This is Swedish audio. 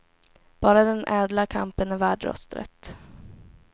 Bara den ädla kampen är värd rösträtt.